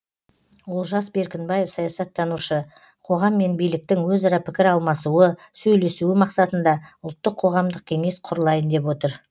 олжас беркінбаев саясаттанушы қоғам мен биліктің өзара пікір алмасуы сөйлесуі мақсатында ұлттық қоғамдық кеңес құрылайын деп отыр